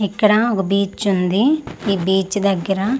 ఇక్కడ ఒక బీచ్ ఉంది ఈ బీచ్ దగ్గర--